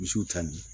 Misiw tali